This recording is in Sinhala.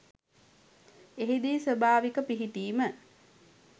එහිදී ස්වභාවික පිහිටීම